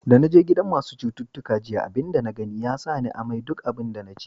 Da na je gidan masun citutuka jiya, abin da na gani ya sa ni amai duk abin da na ci.